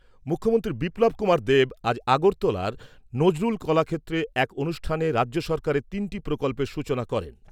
মুখ্যমন্ত্রী বিপ্লব কুমার দেব আজ আগরতলার নজরুল কলাক্ষেত্রে এক অনুষ্ঠানে রাজ্য সরকারের তিনটি প্রকল্পের সূচনা করেন।